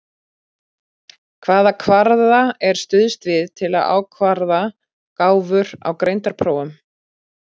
Hvaða kvarða er stuðst við til að ákvarða gáfur á greindarprófum?